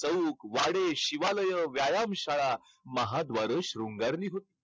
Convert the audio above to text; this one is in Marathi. चौक, वाडे, शिवालय, व्यायाम शाळा, महाद्वारं शृंगारली होती.